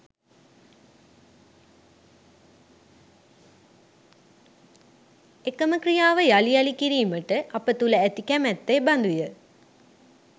එකම ක්‍රියාව යළි යළි කිරීමට අප තුළ ඇති කැමැත්ත එබඳුය